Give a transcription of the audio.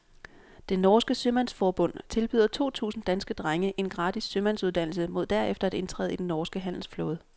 Det norske sømandsforbund tilbyder to tusinde danske drenge en gratis sømandsuddannelse mod derefter at indtræde i den norske handelsflåde.